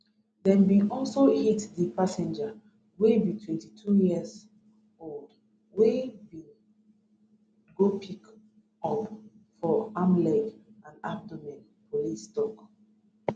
dem bin also hit di passenger wey be 22 years old wey im bin go pick up for arm leg and abdomen police tok